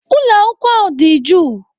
Ụlọ akwụkwọ ahụ dị jụụ.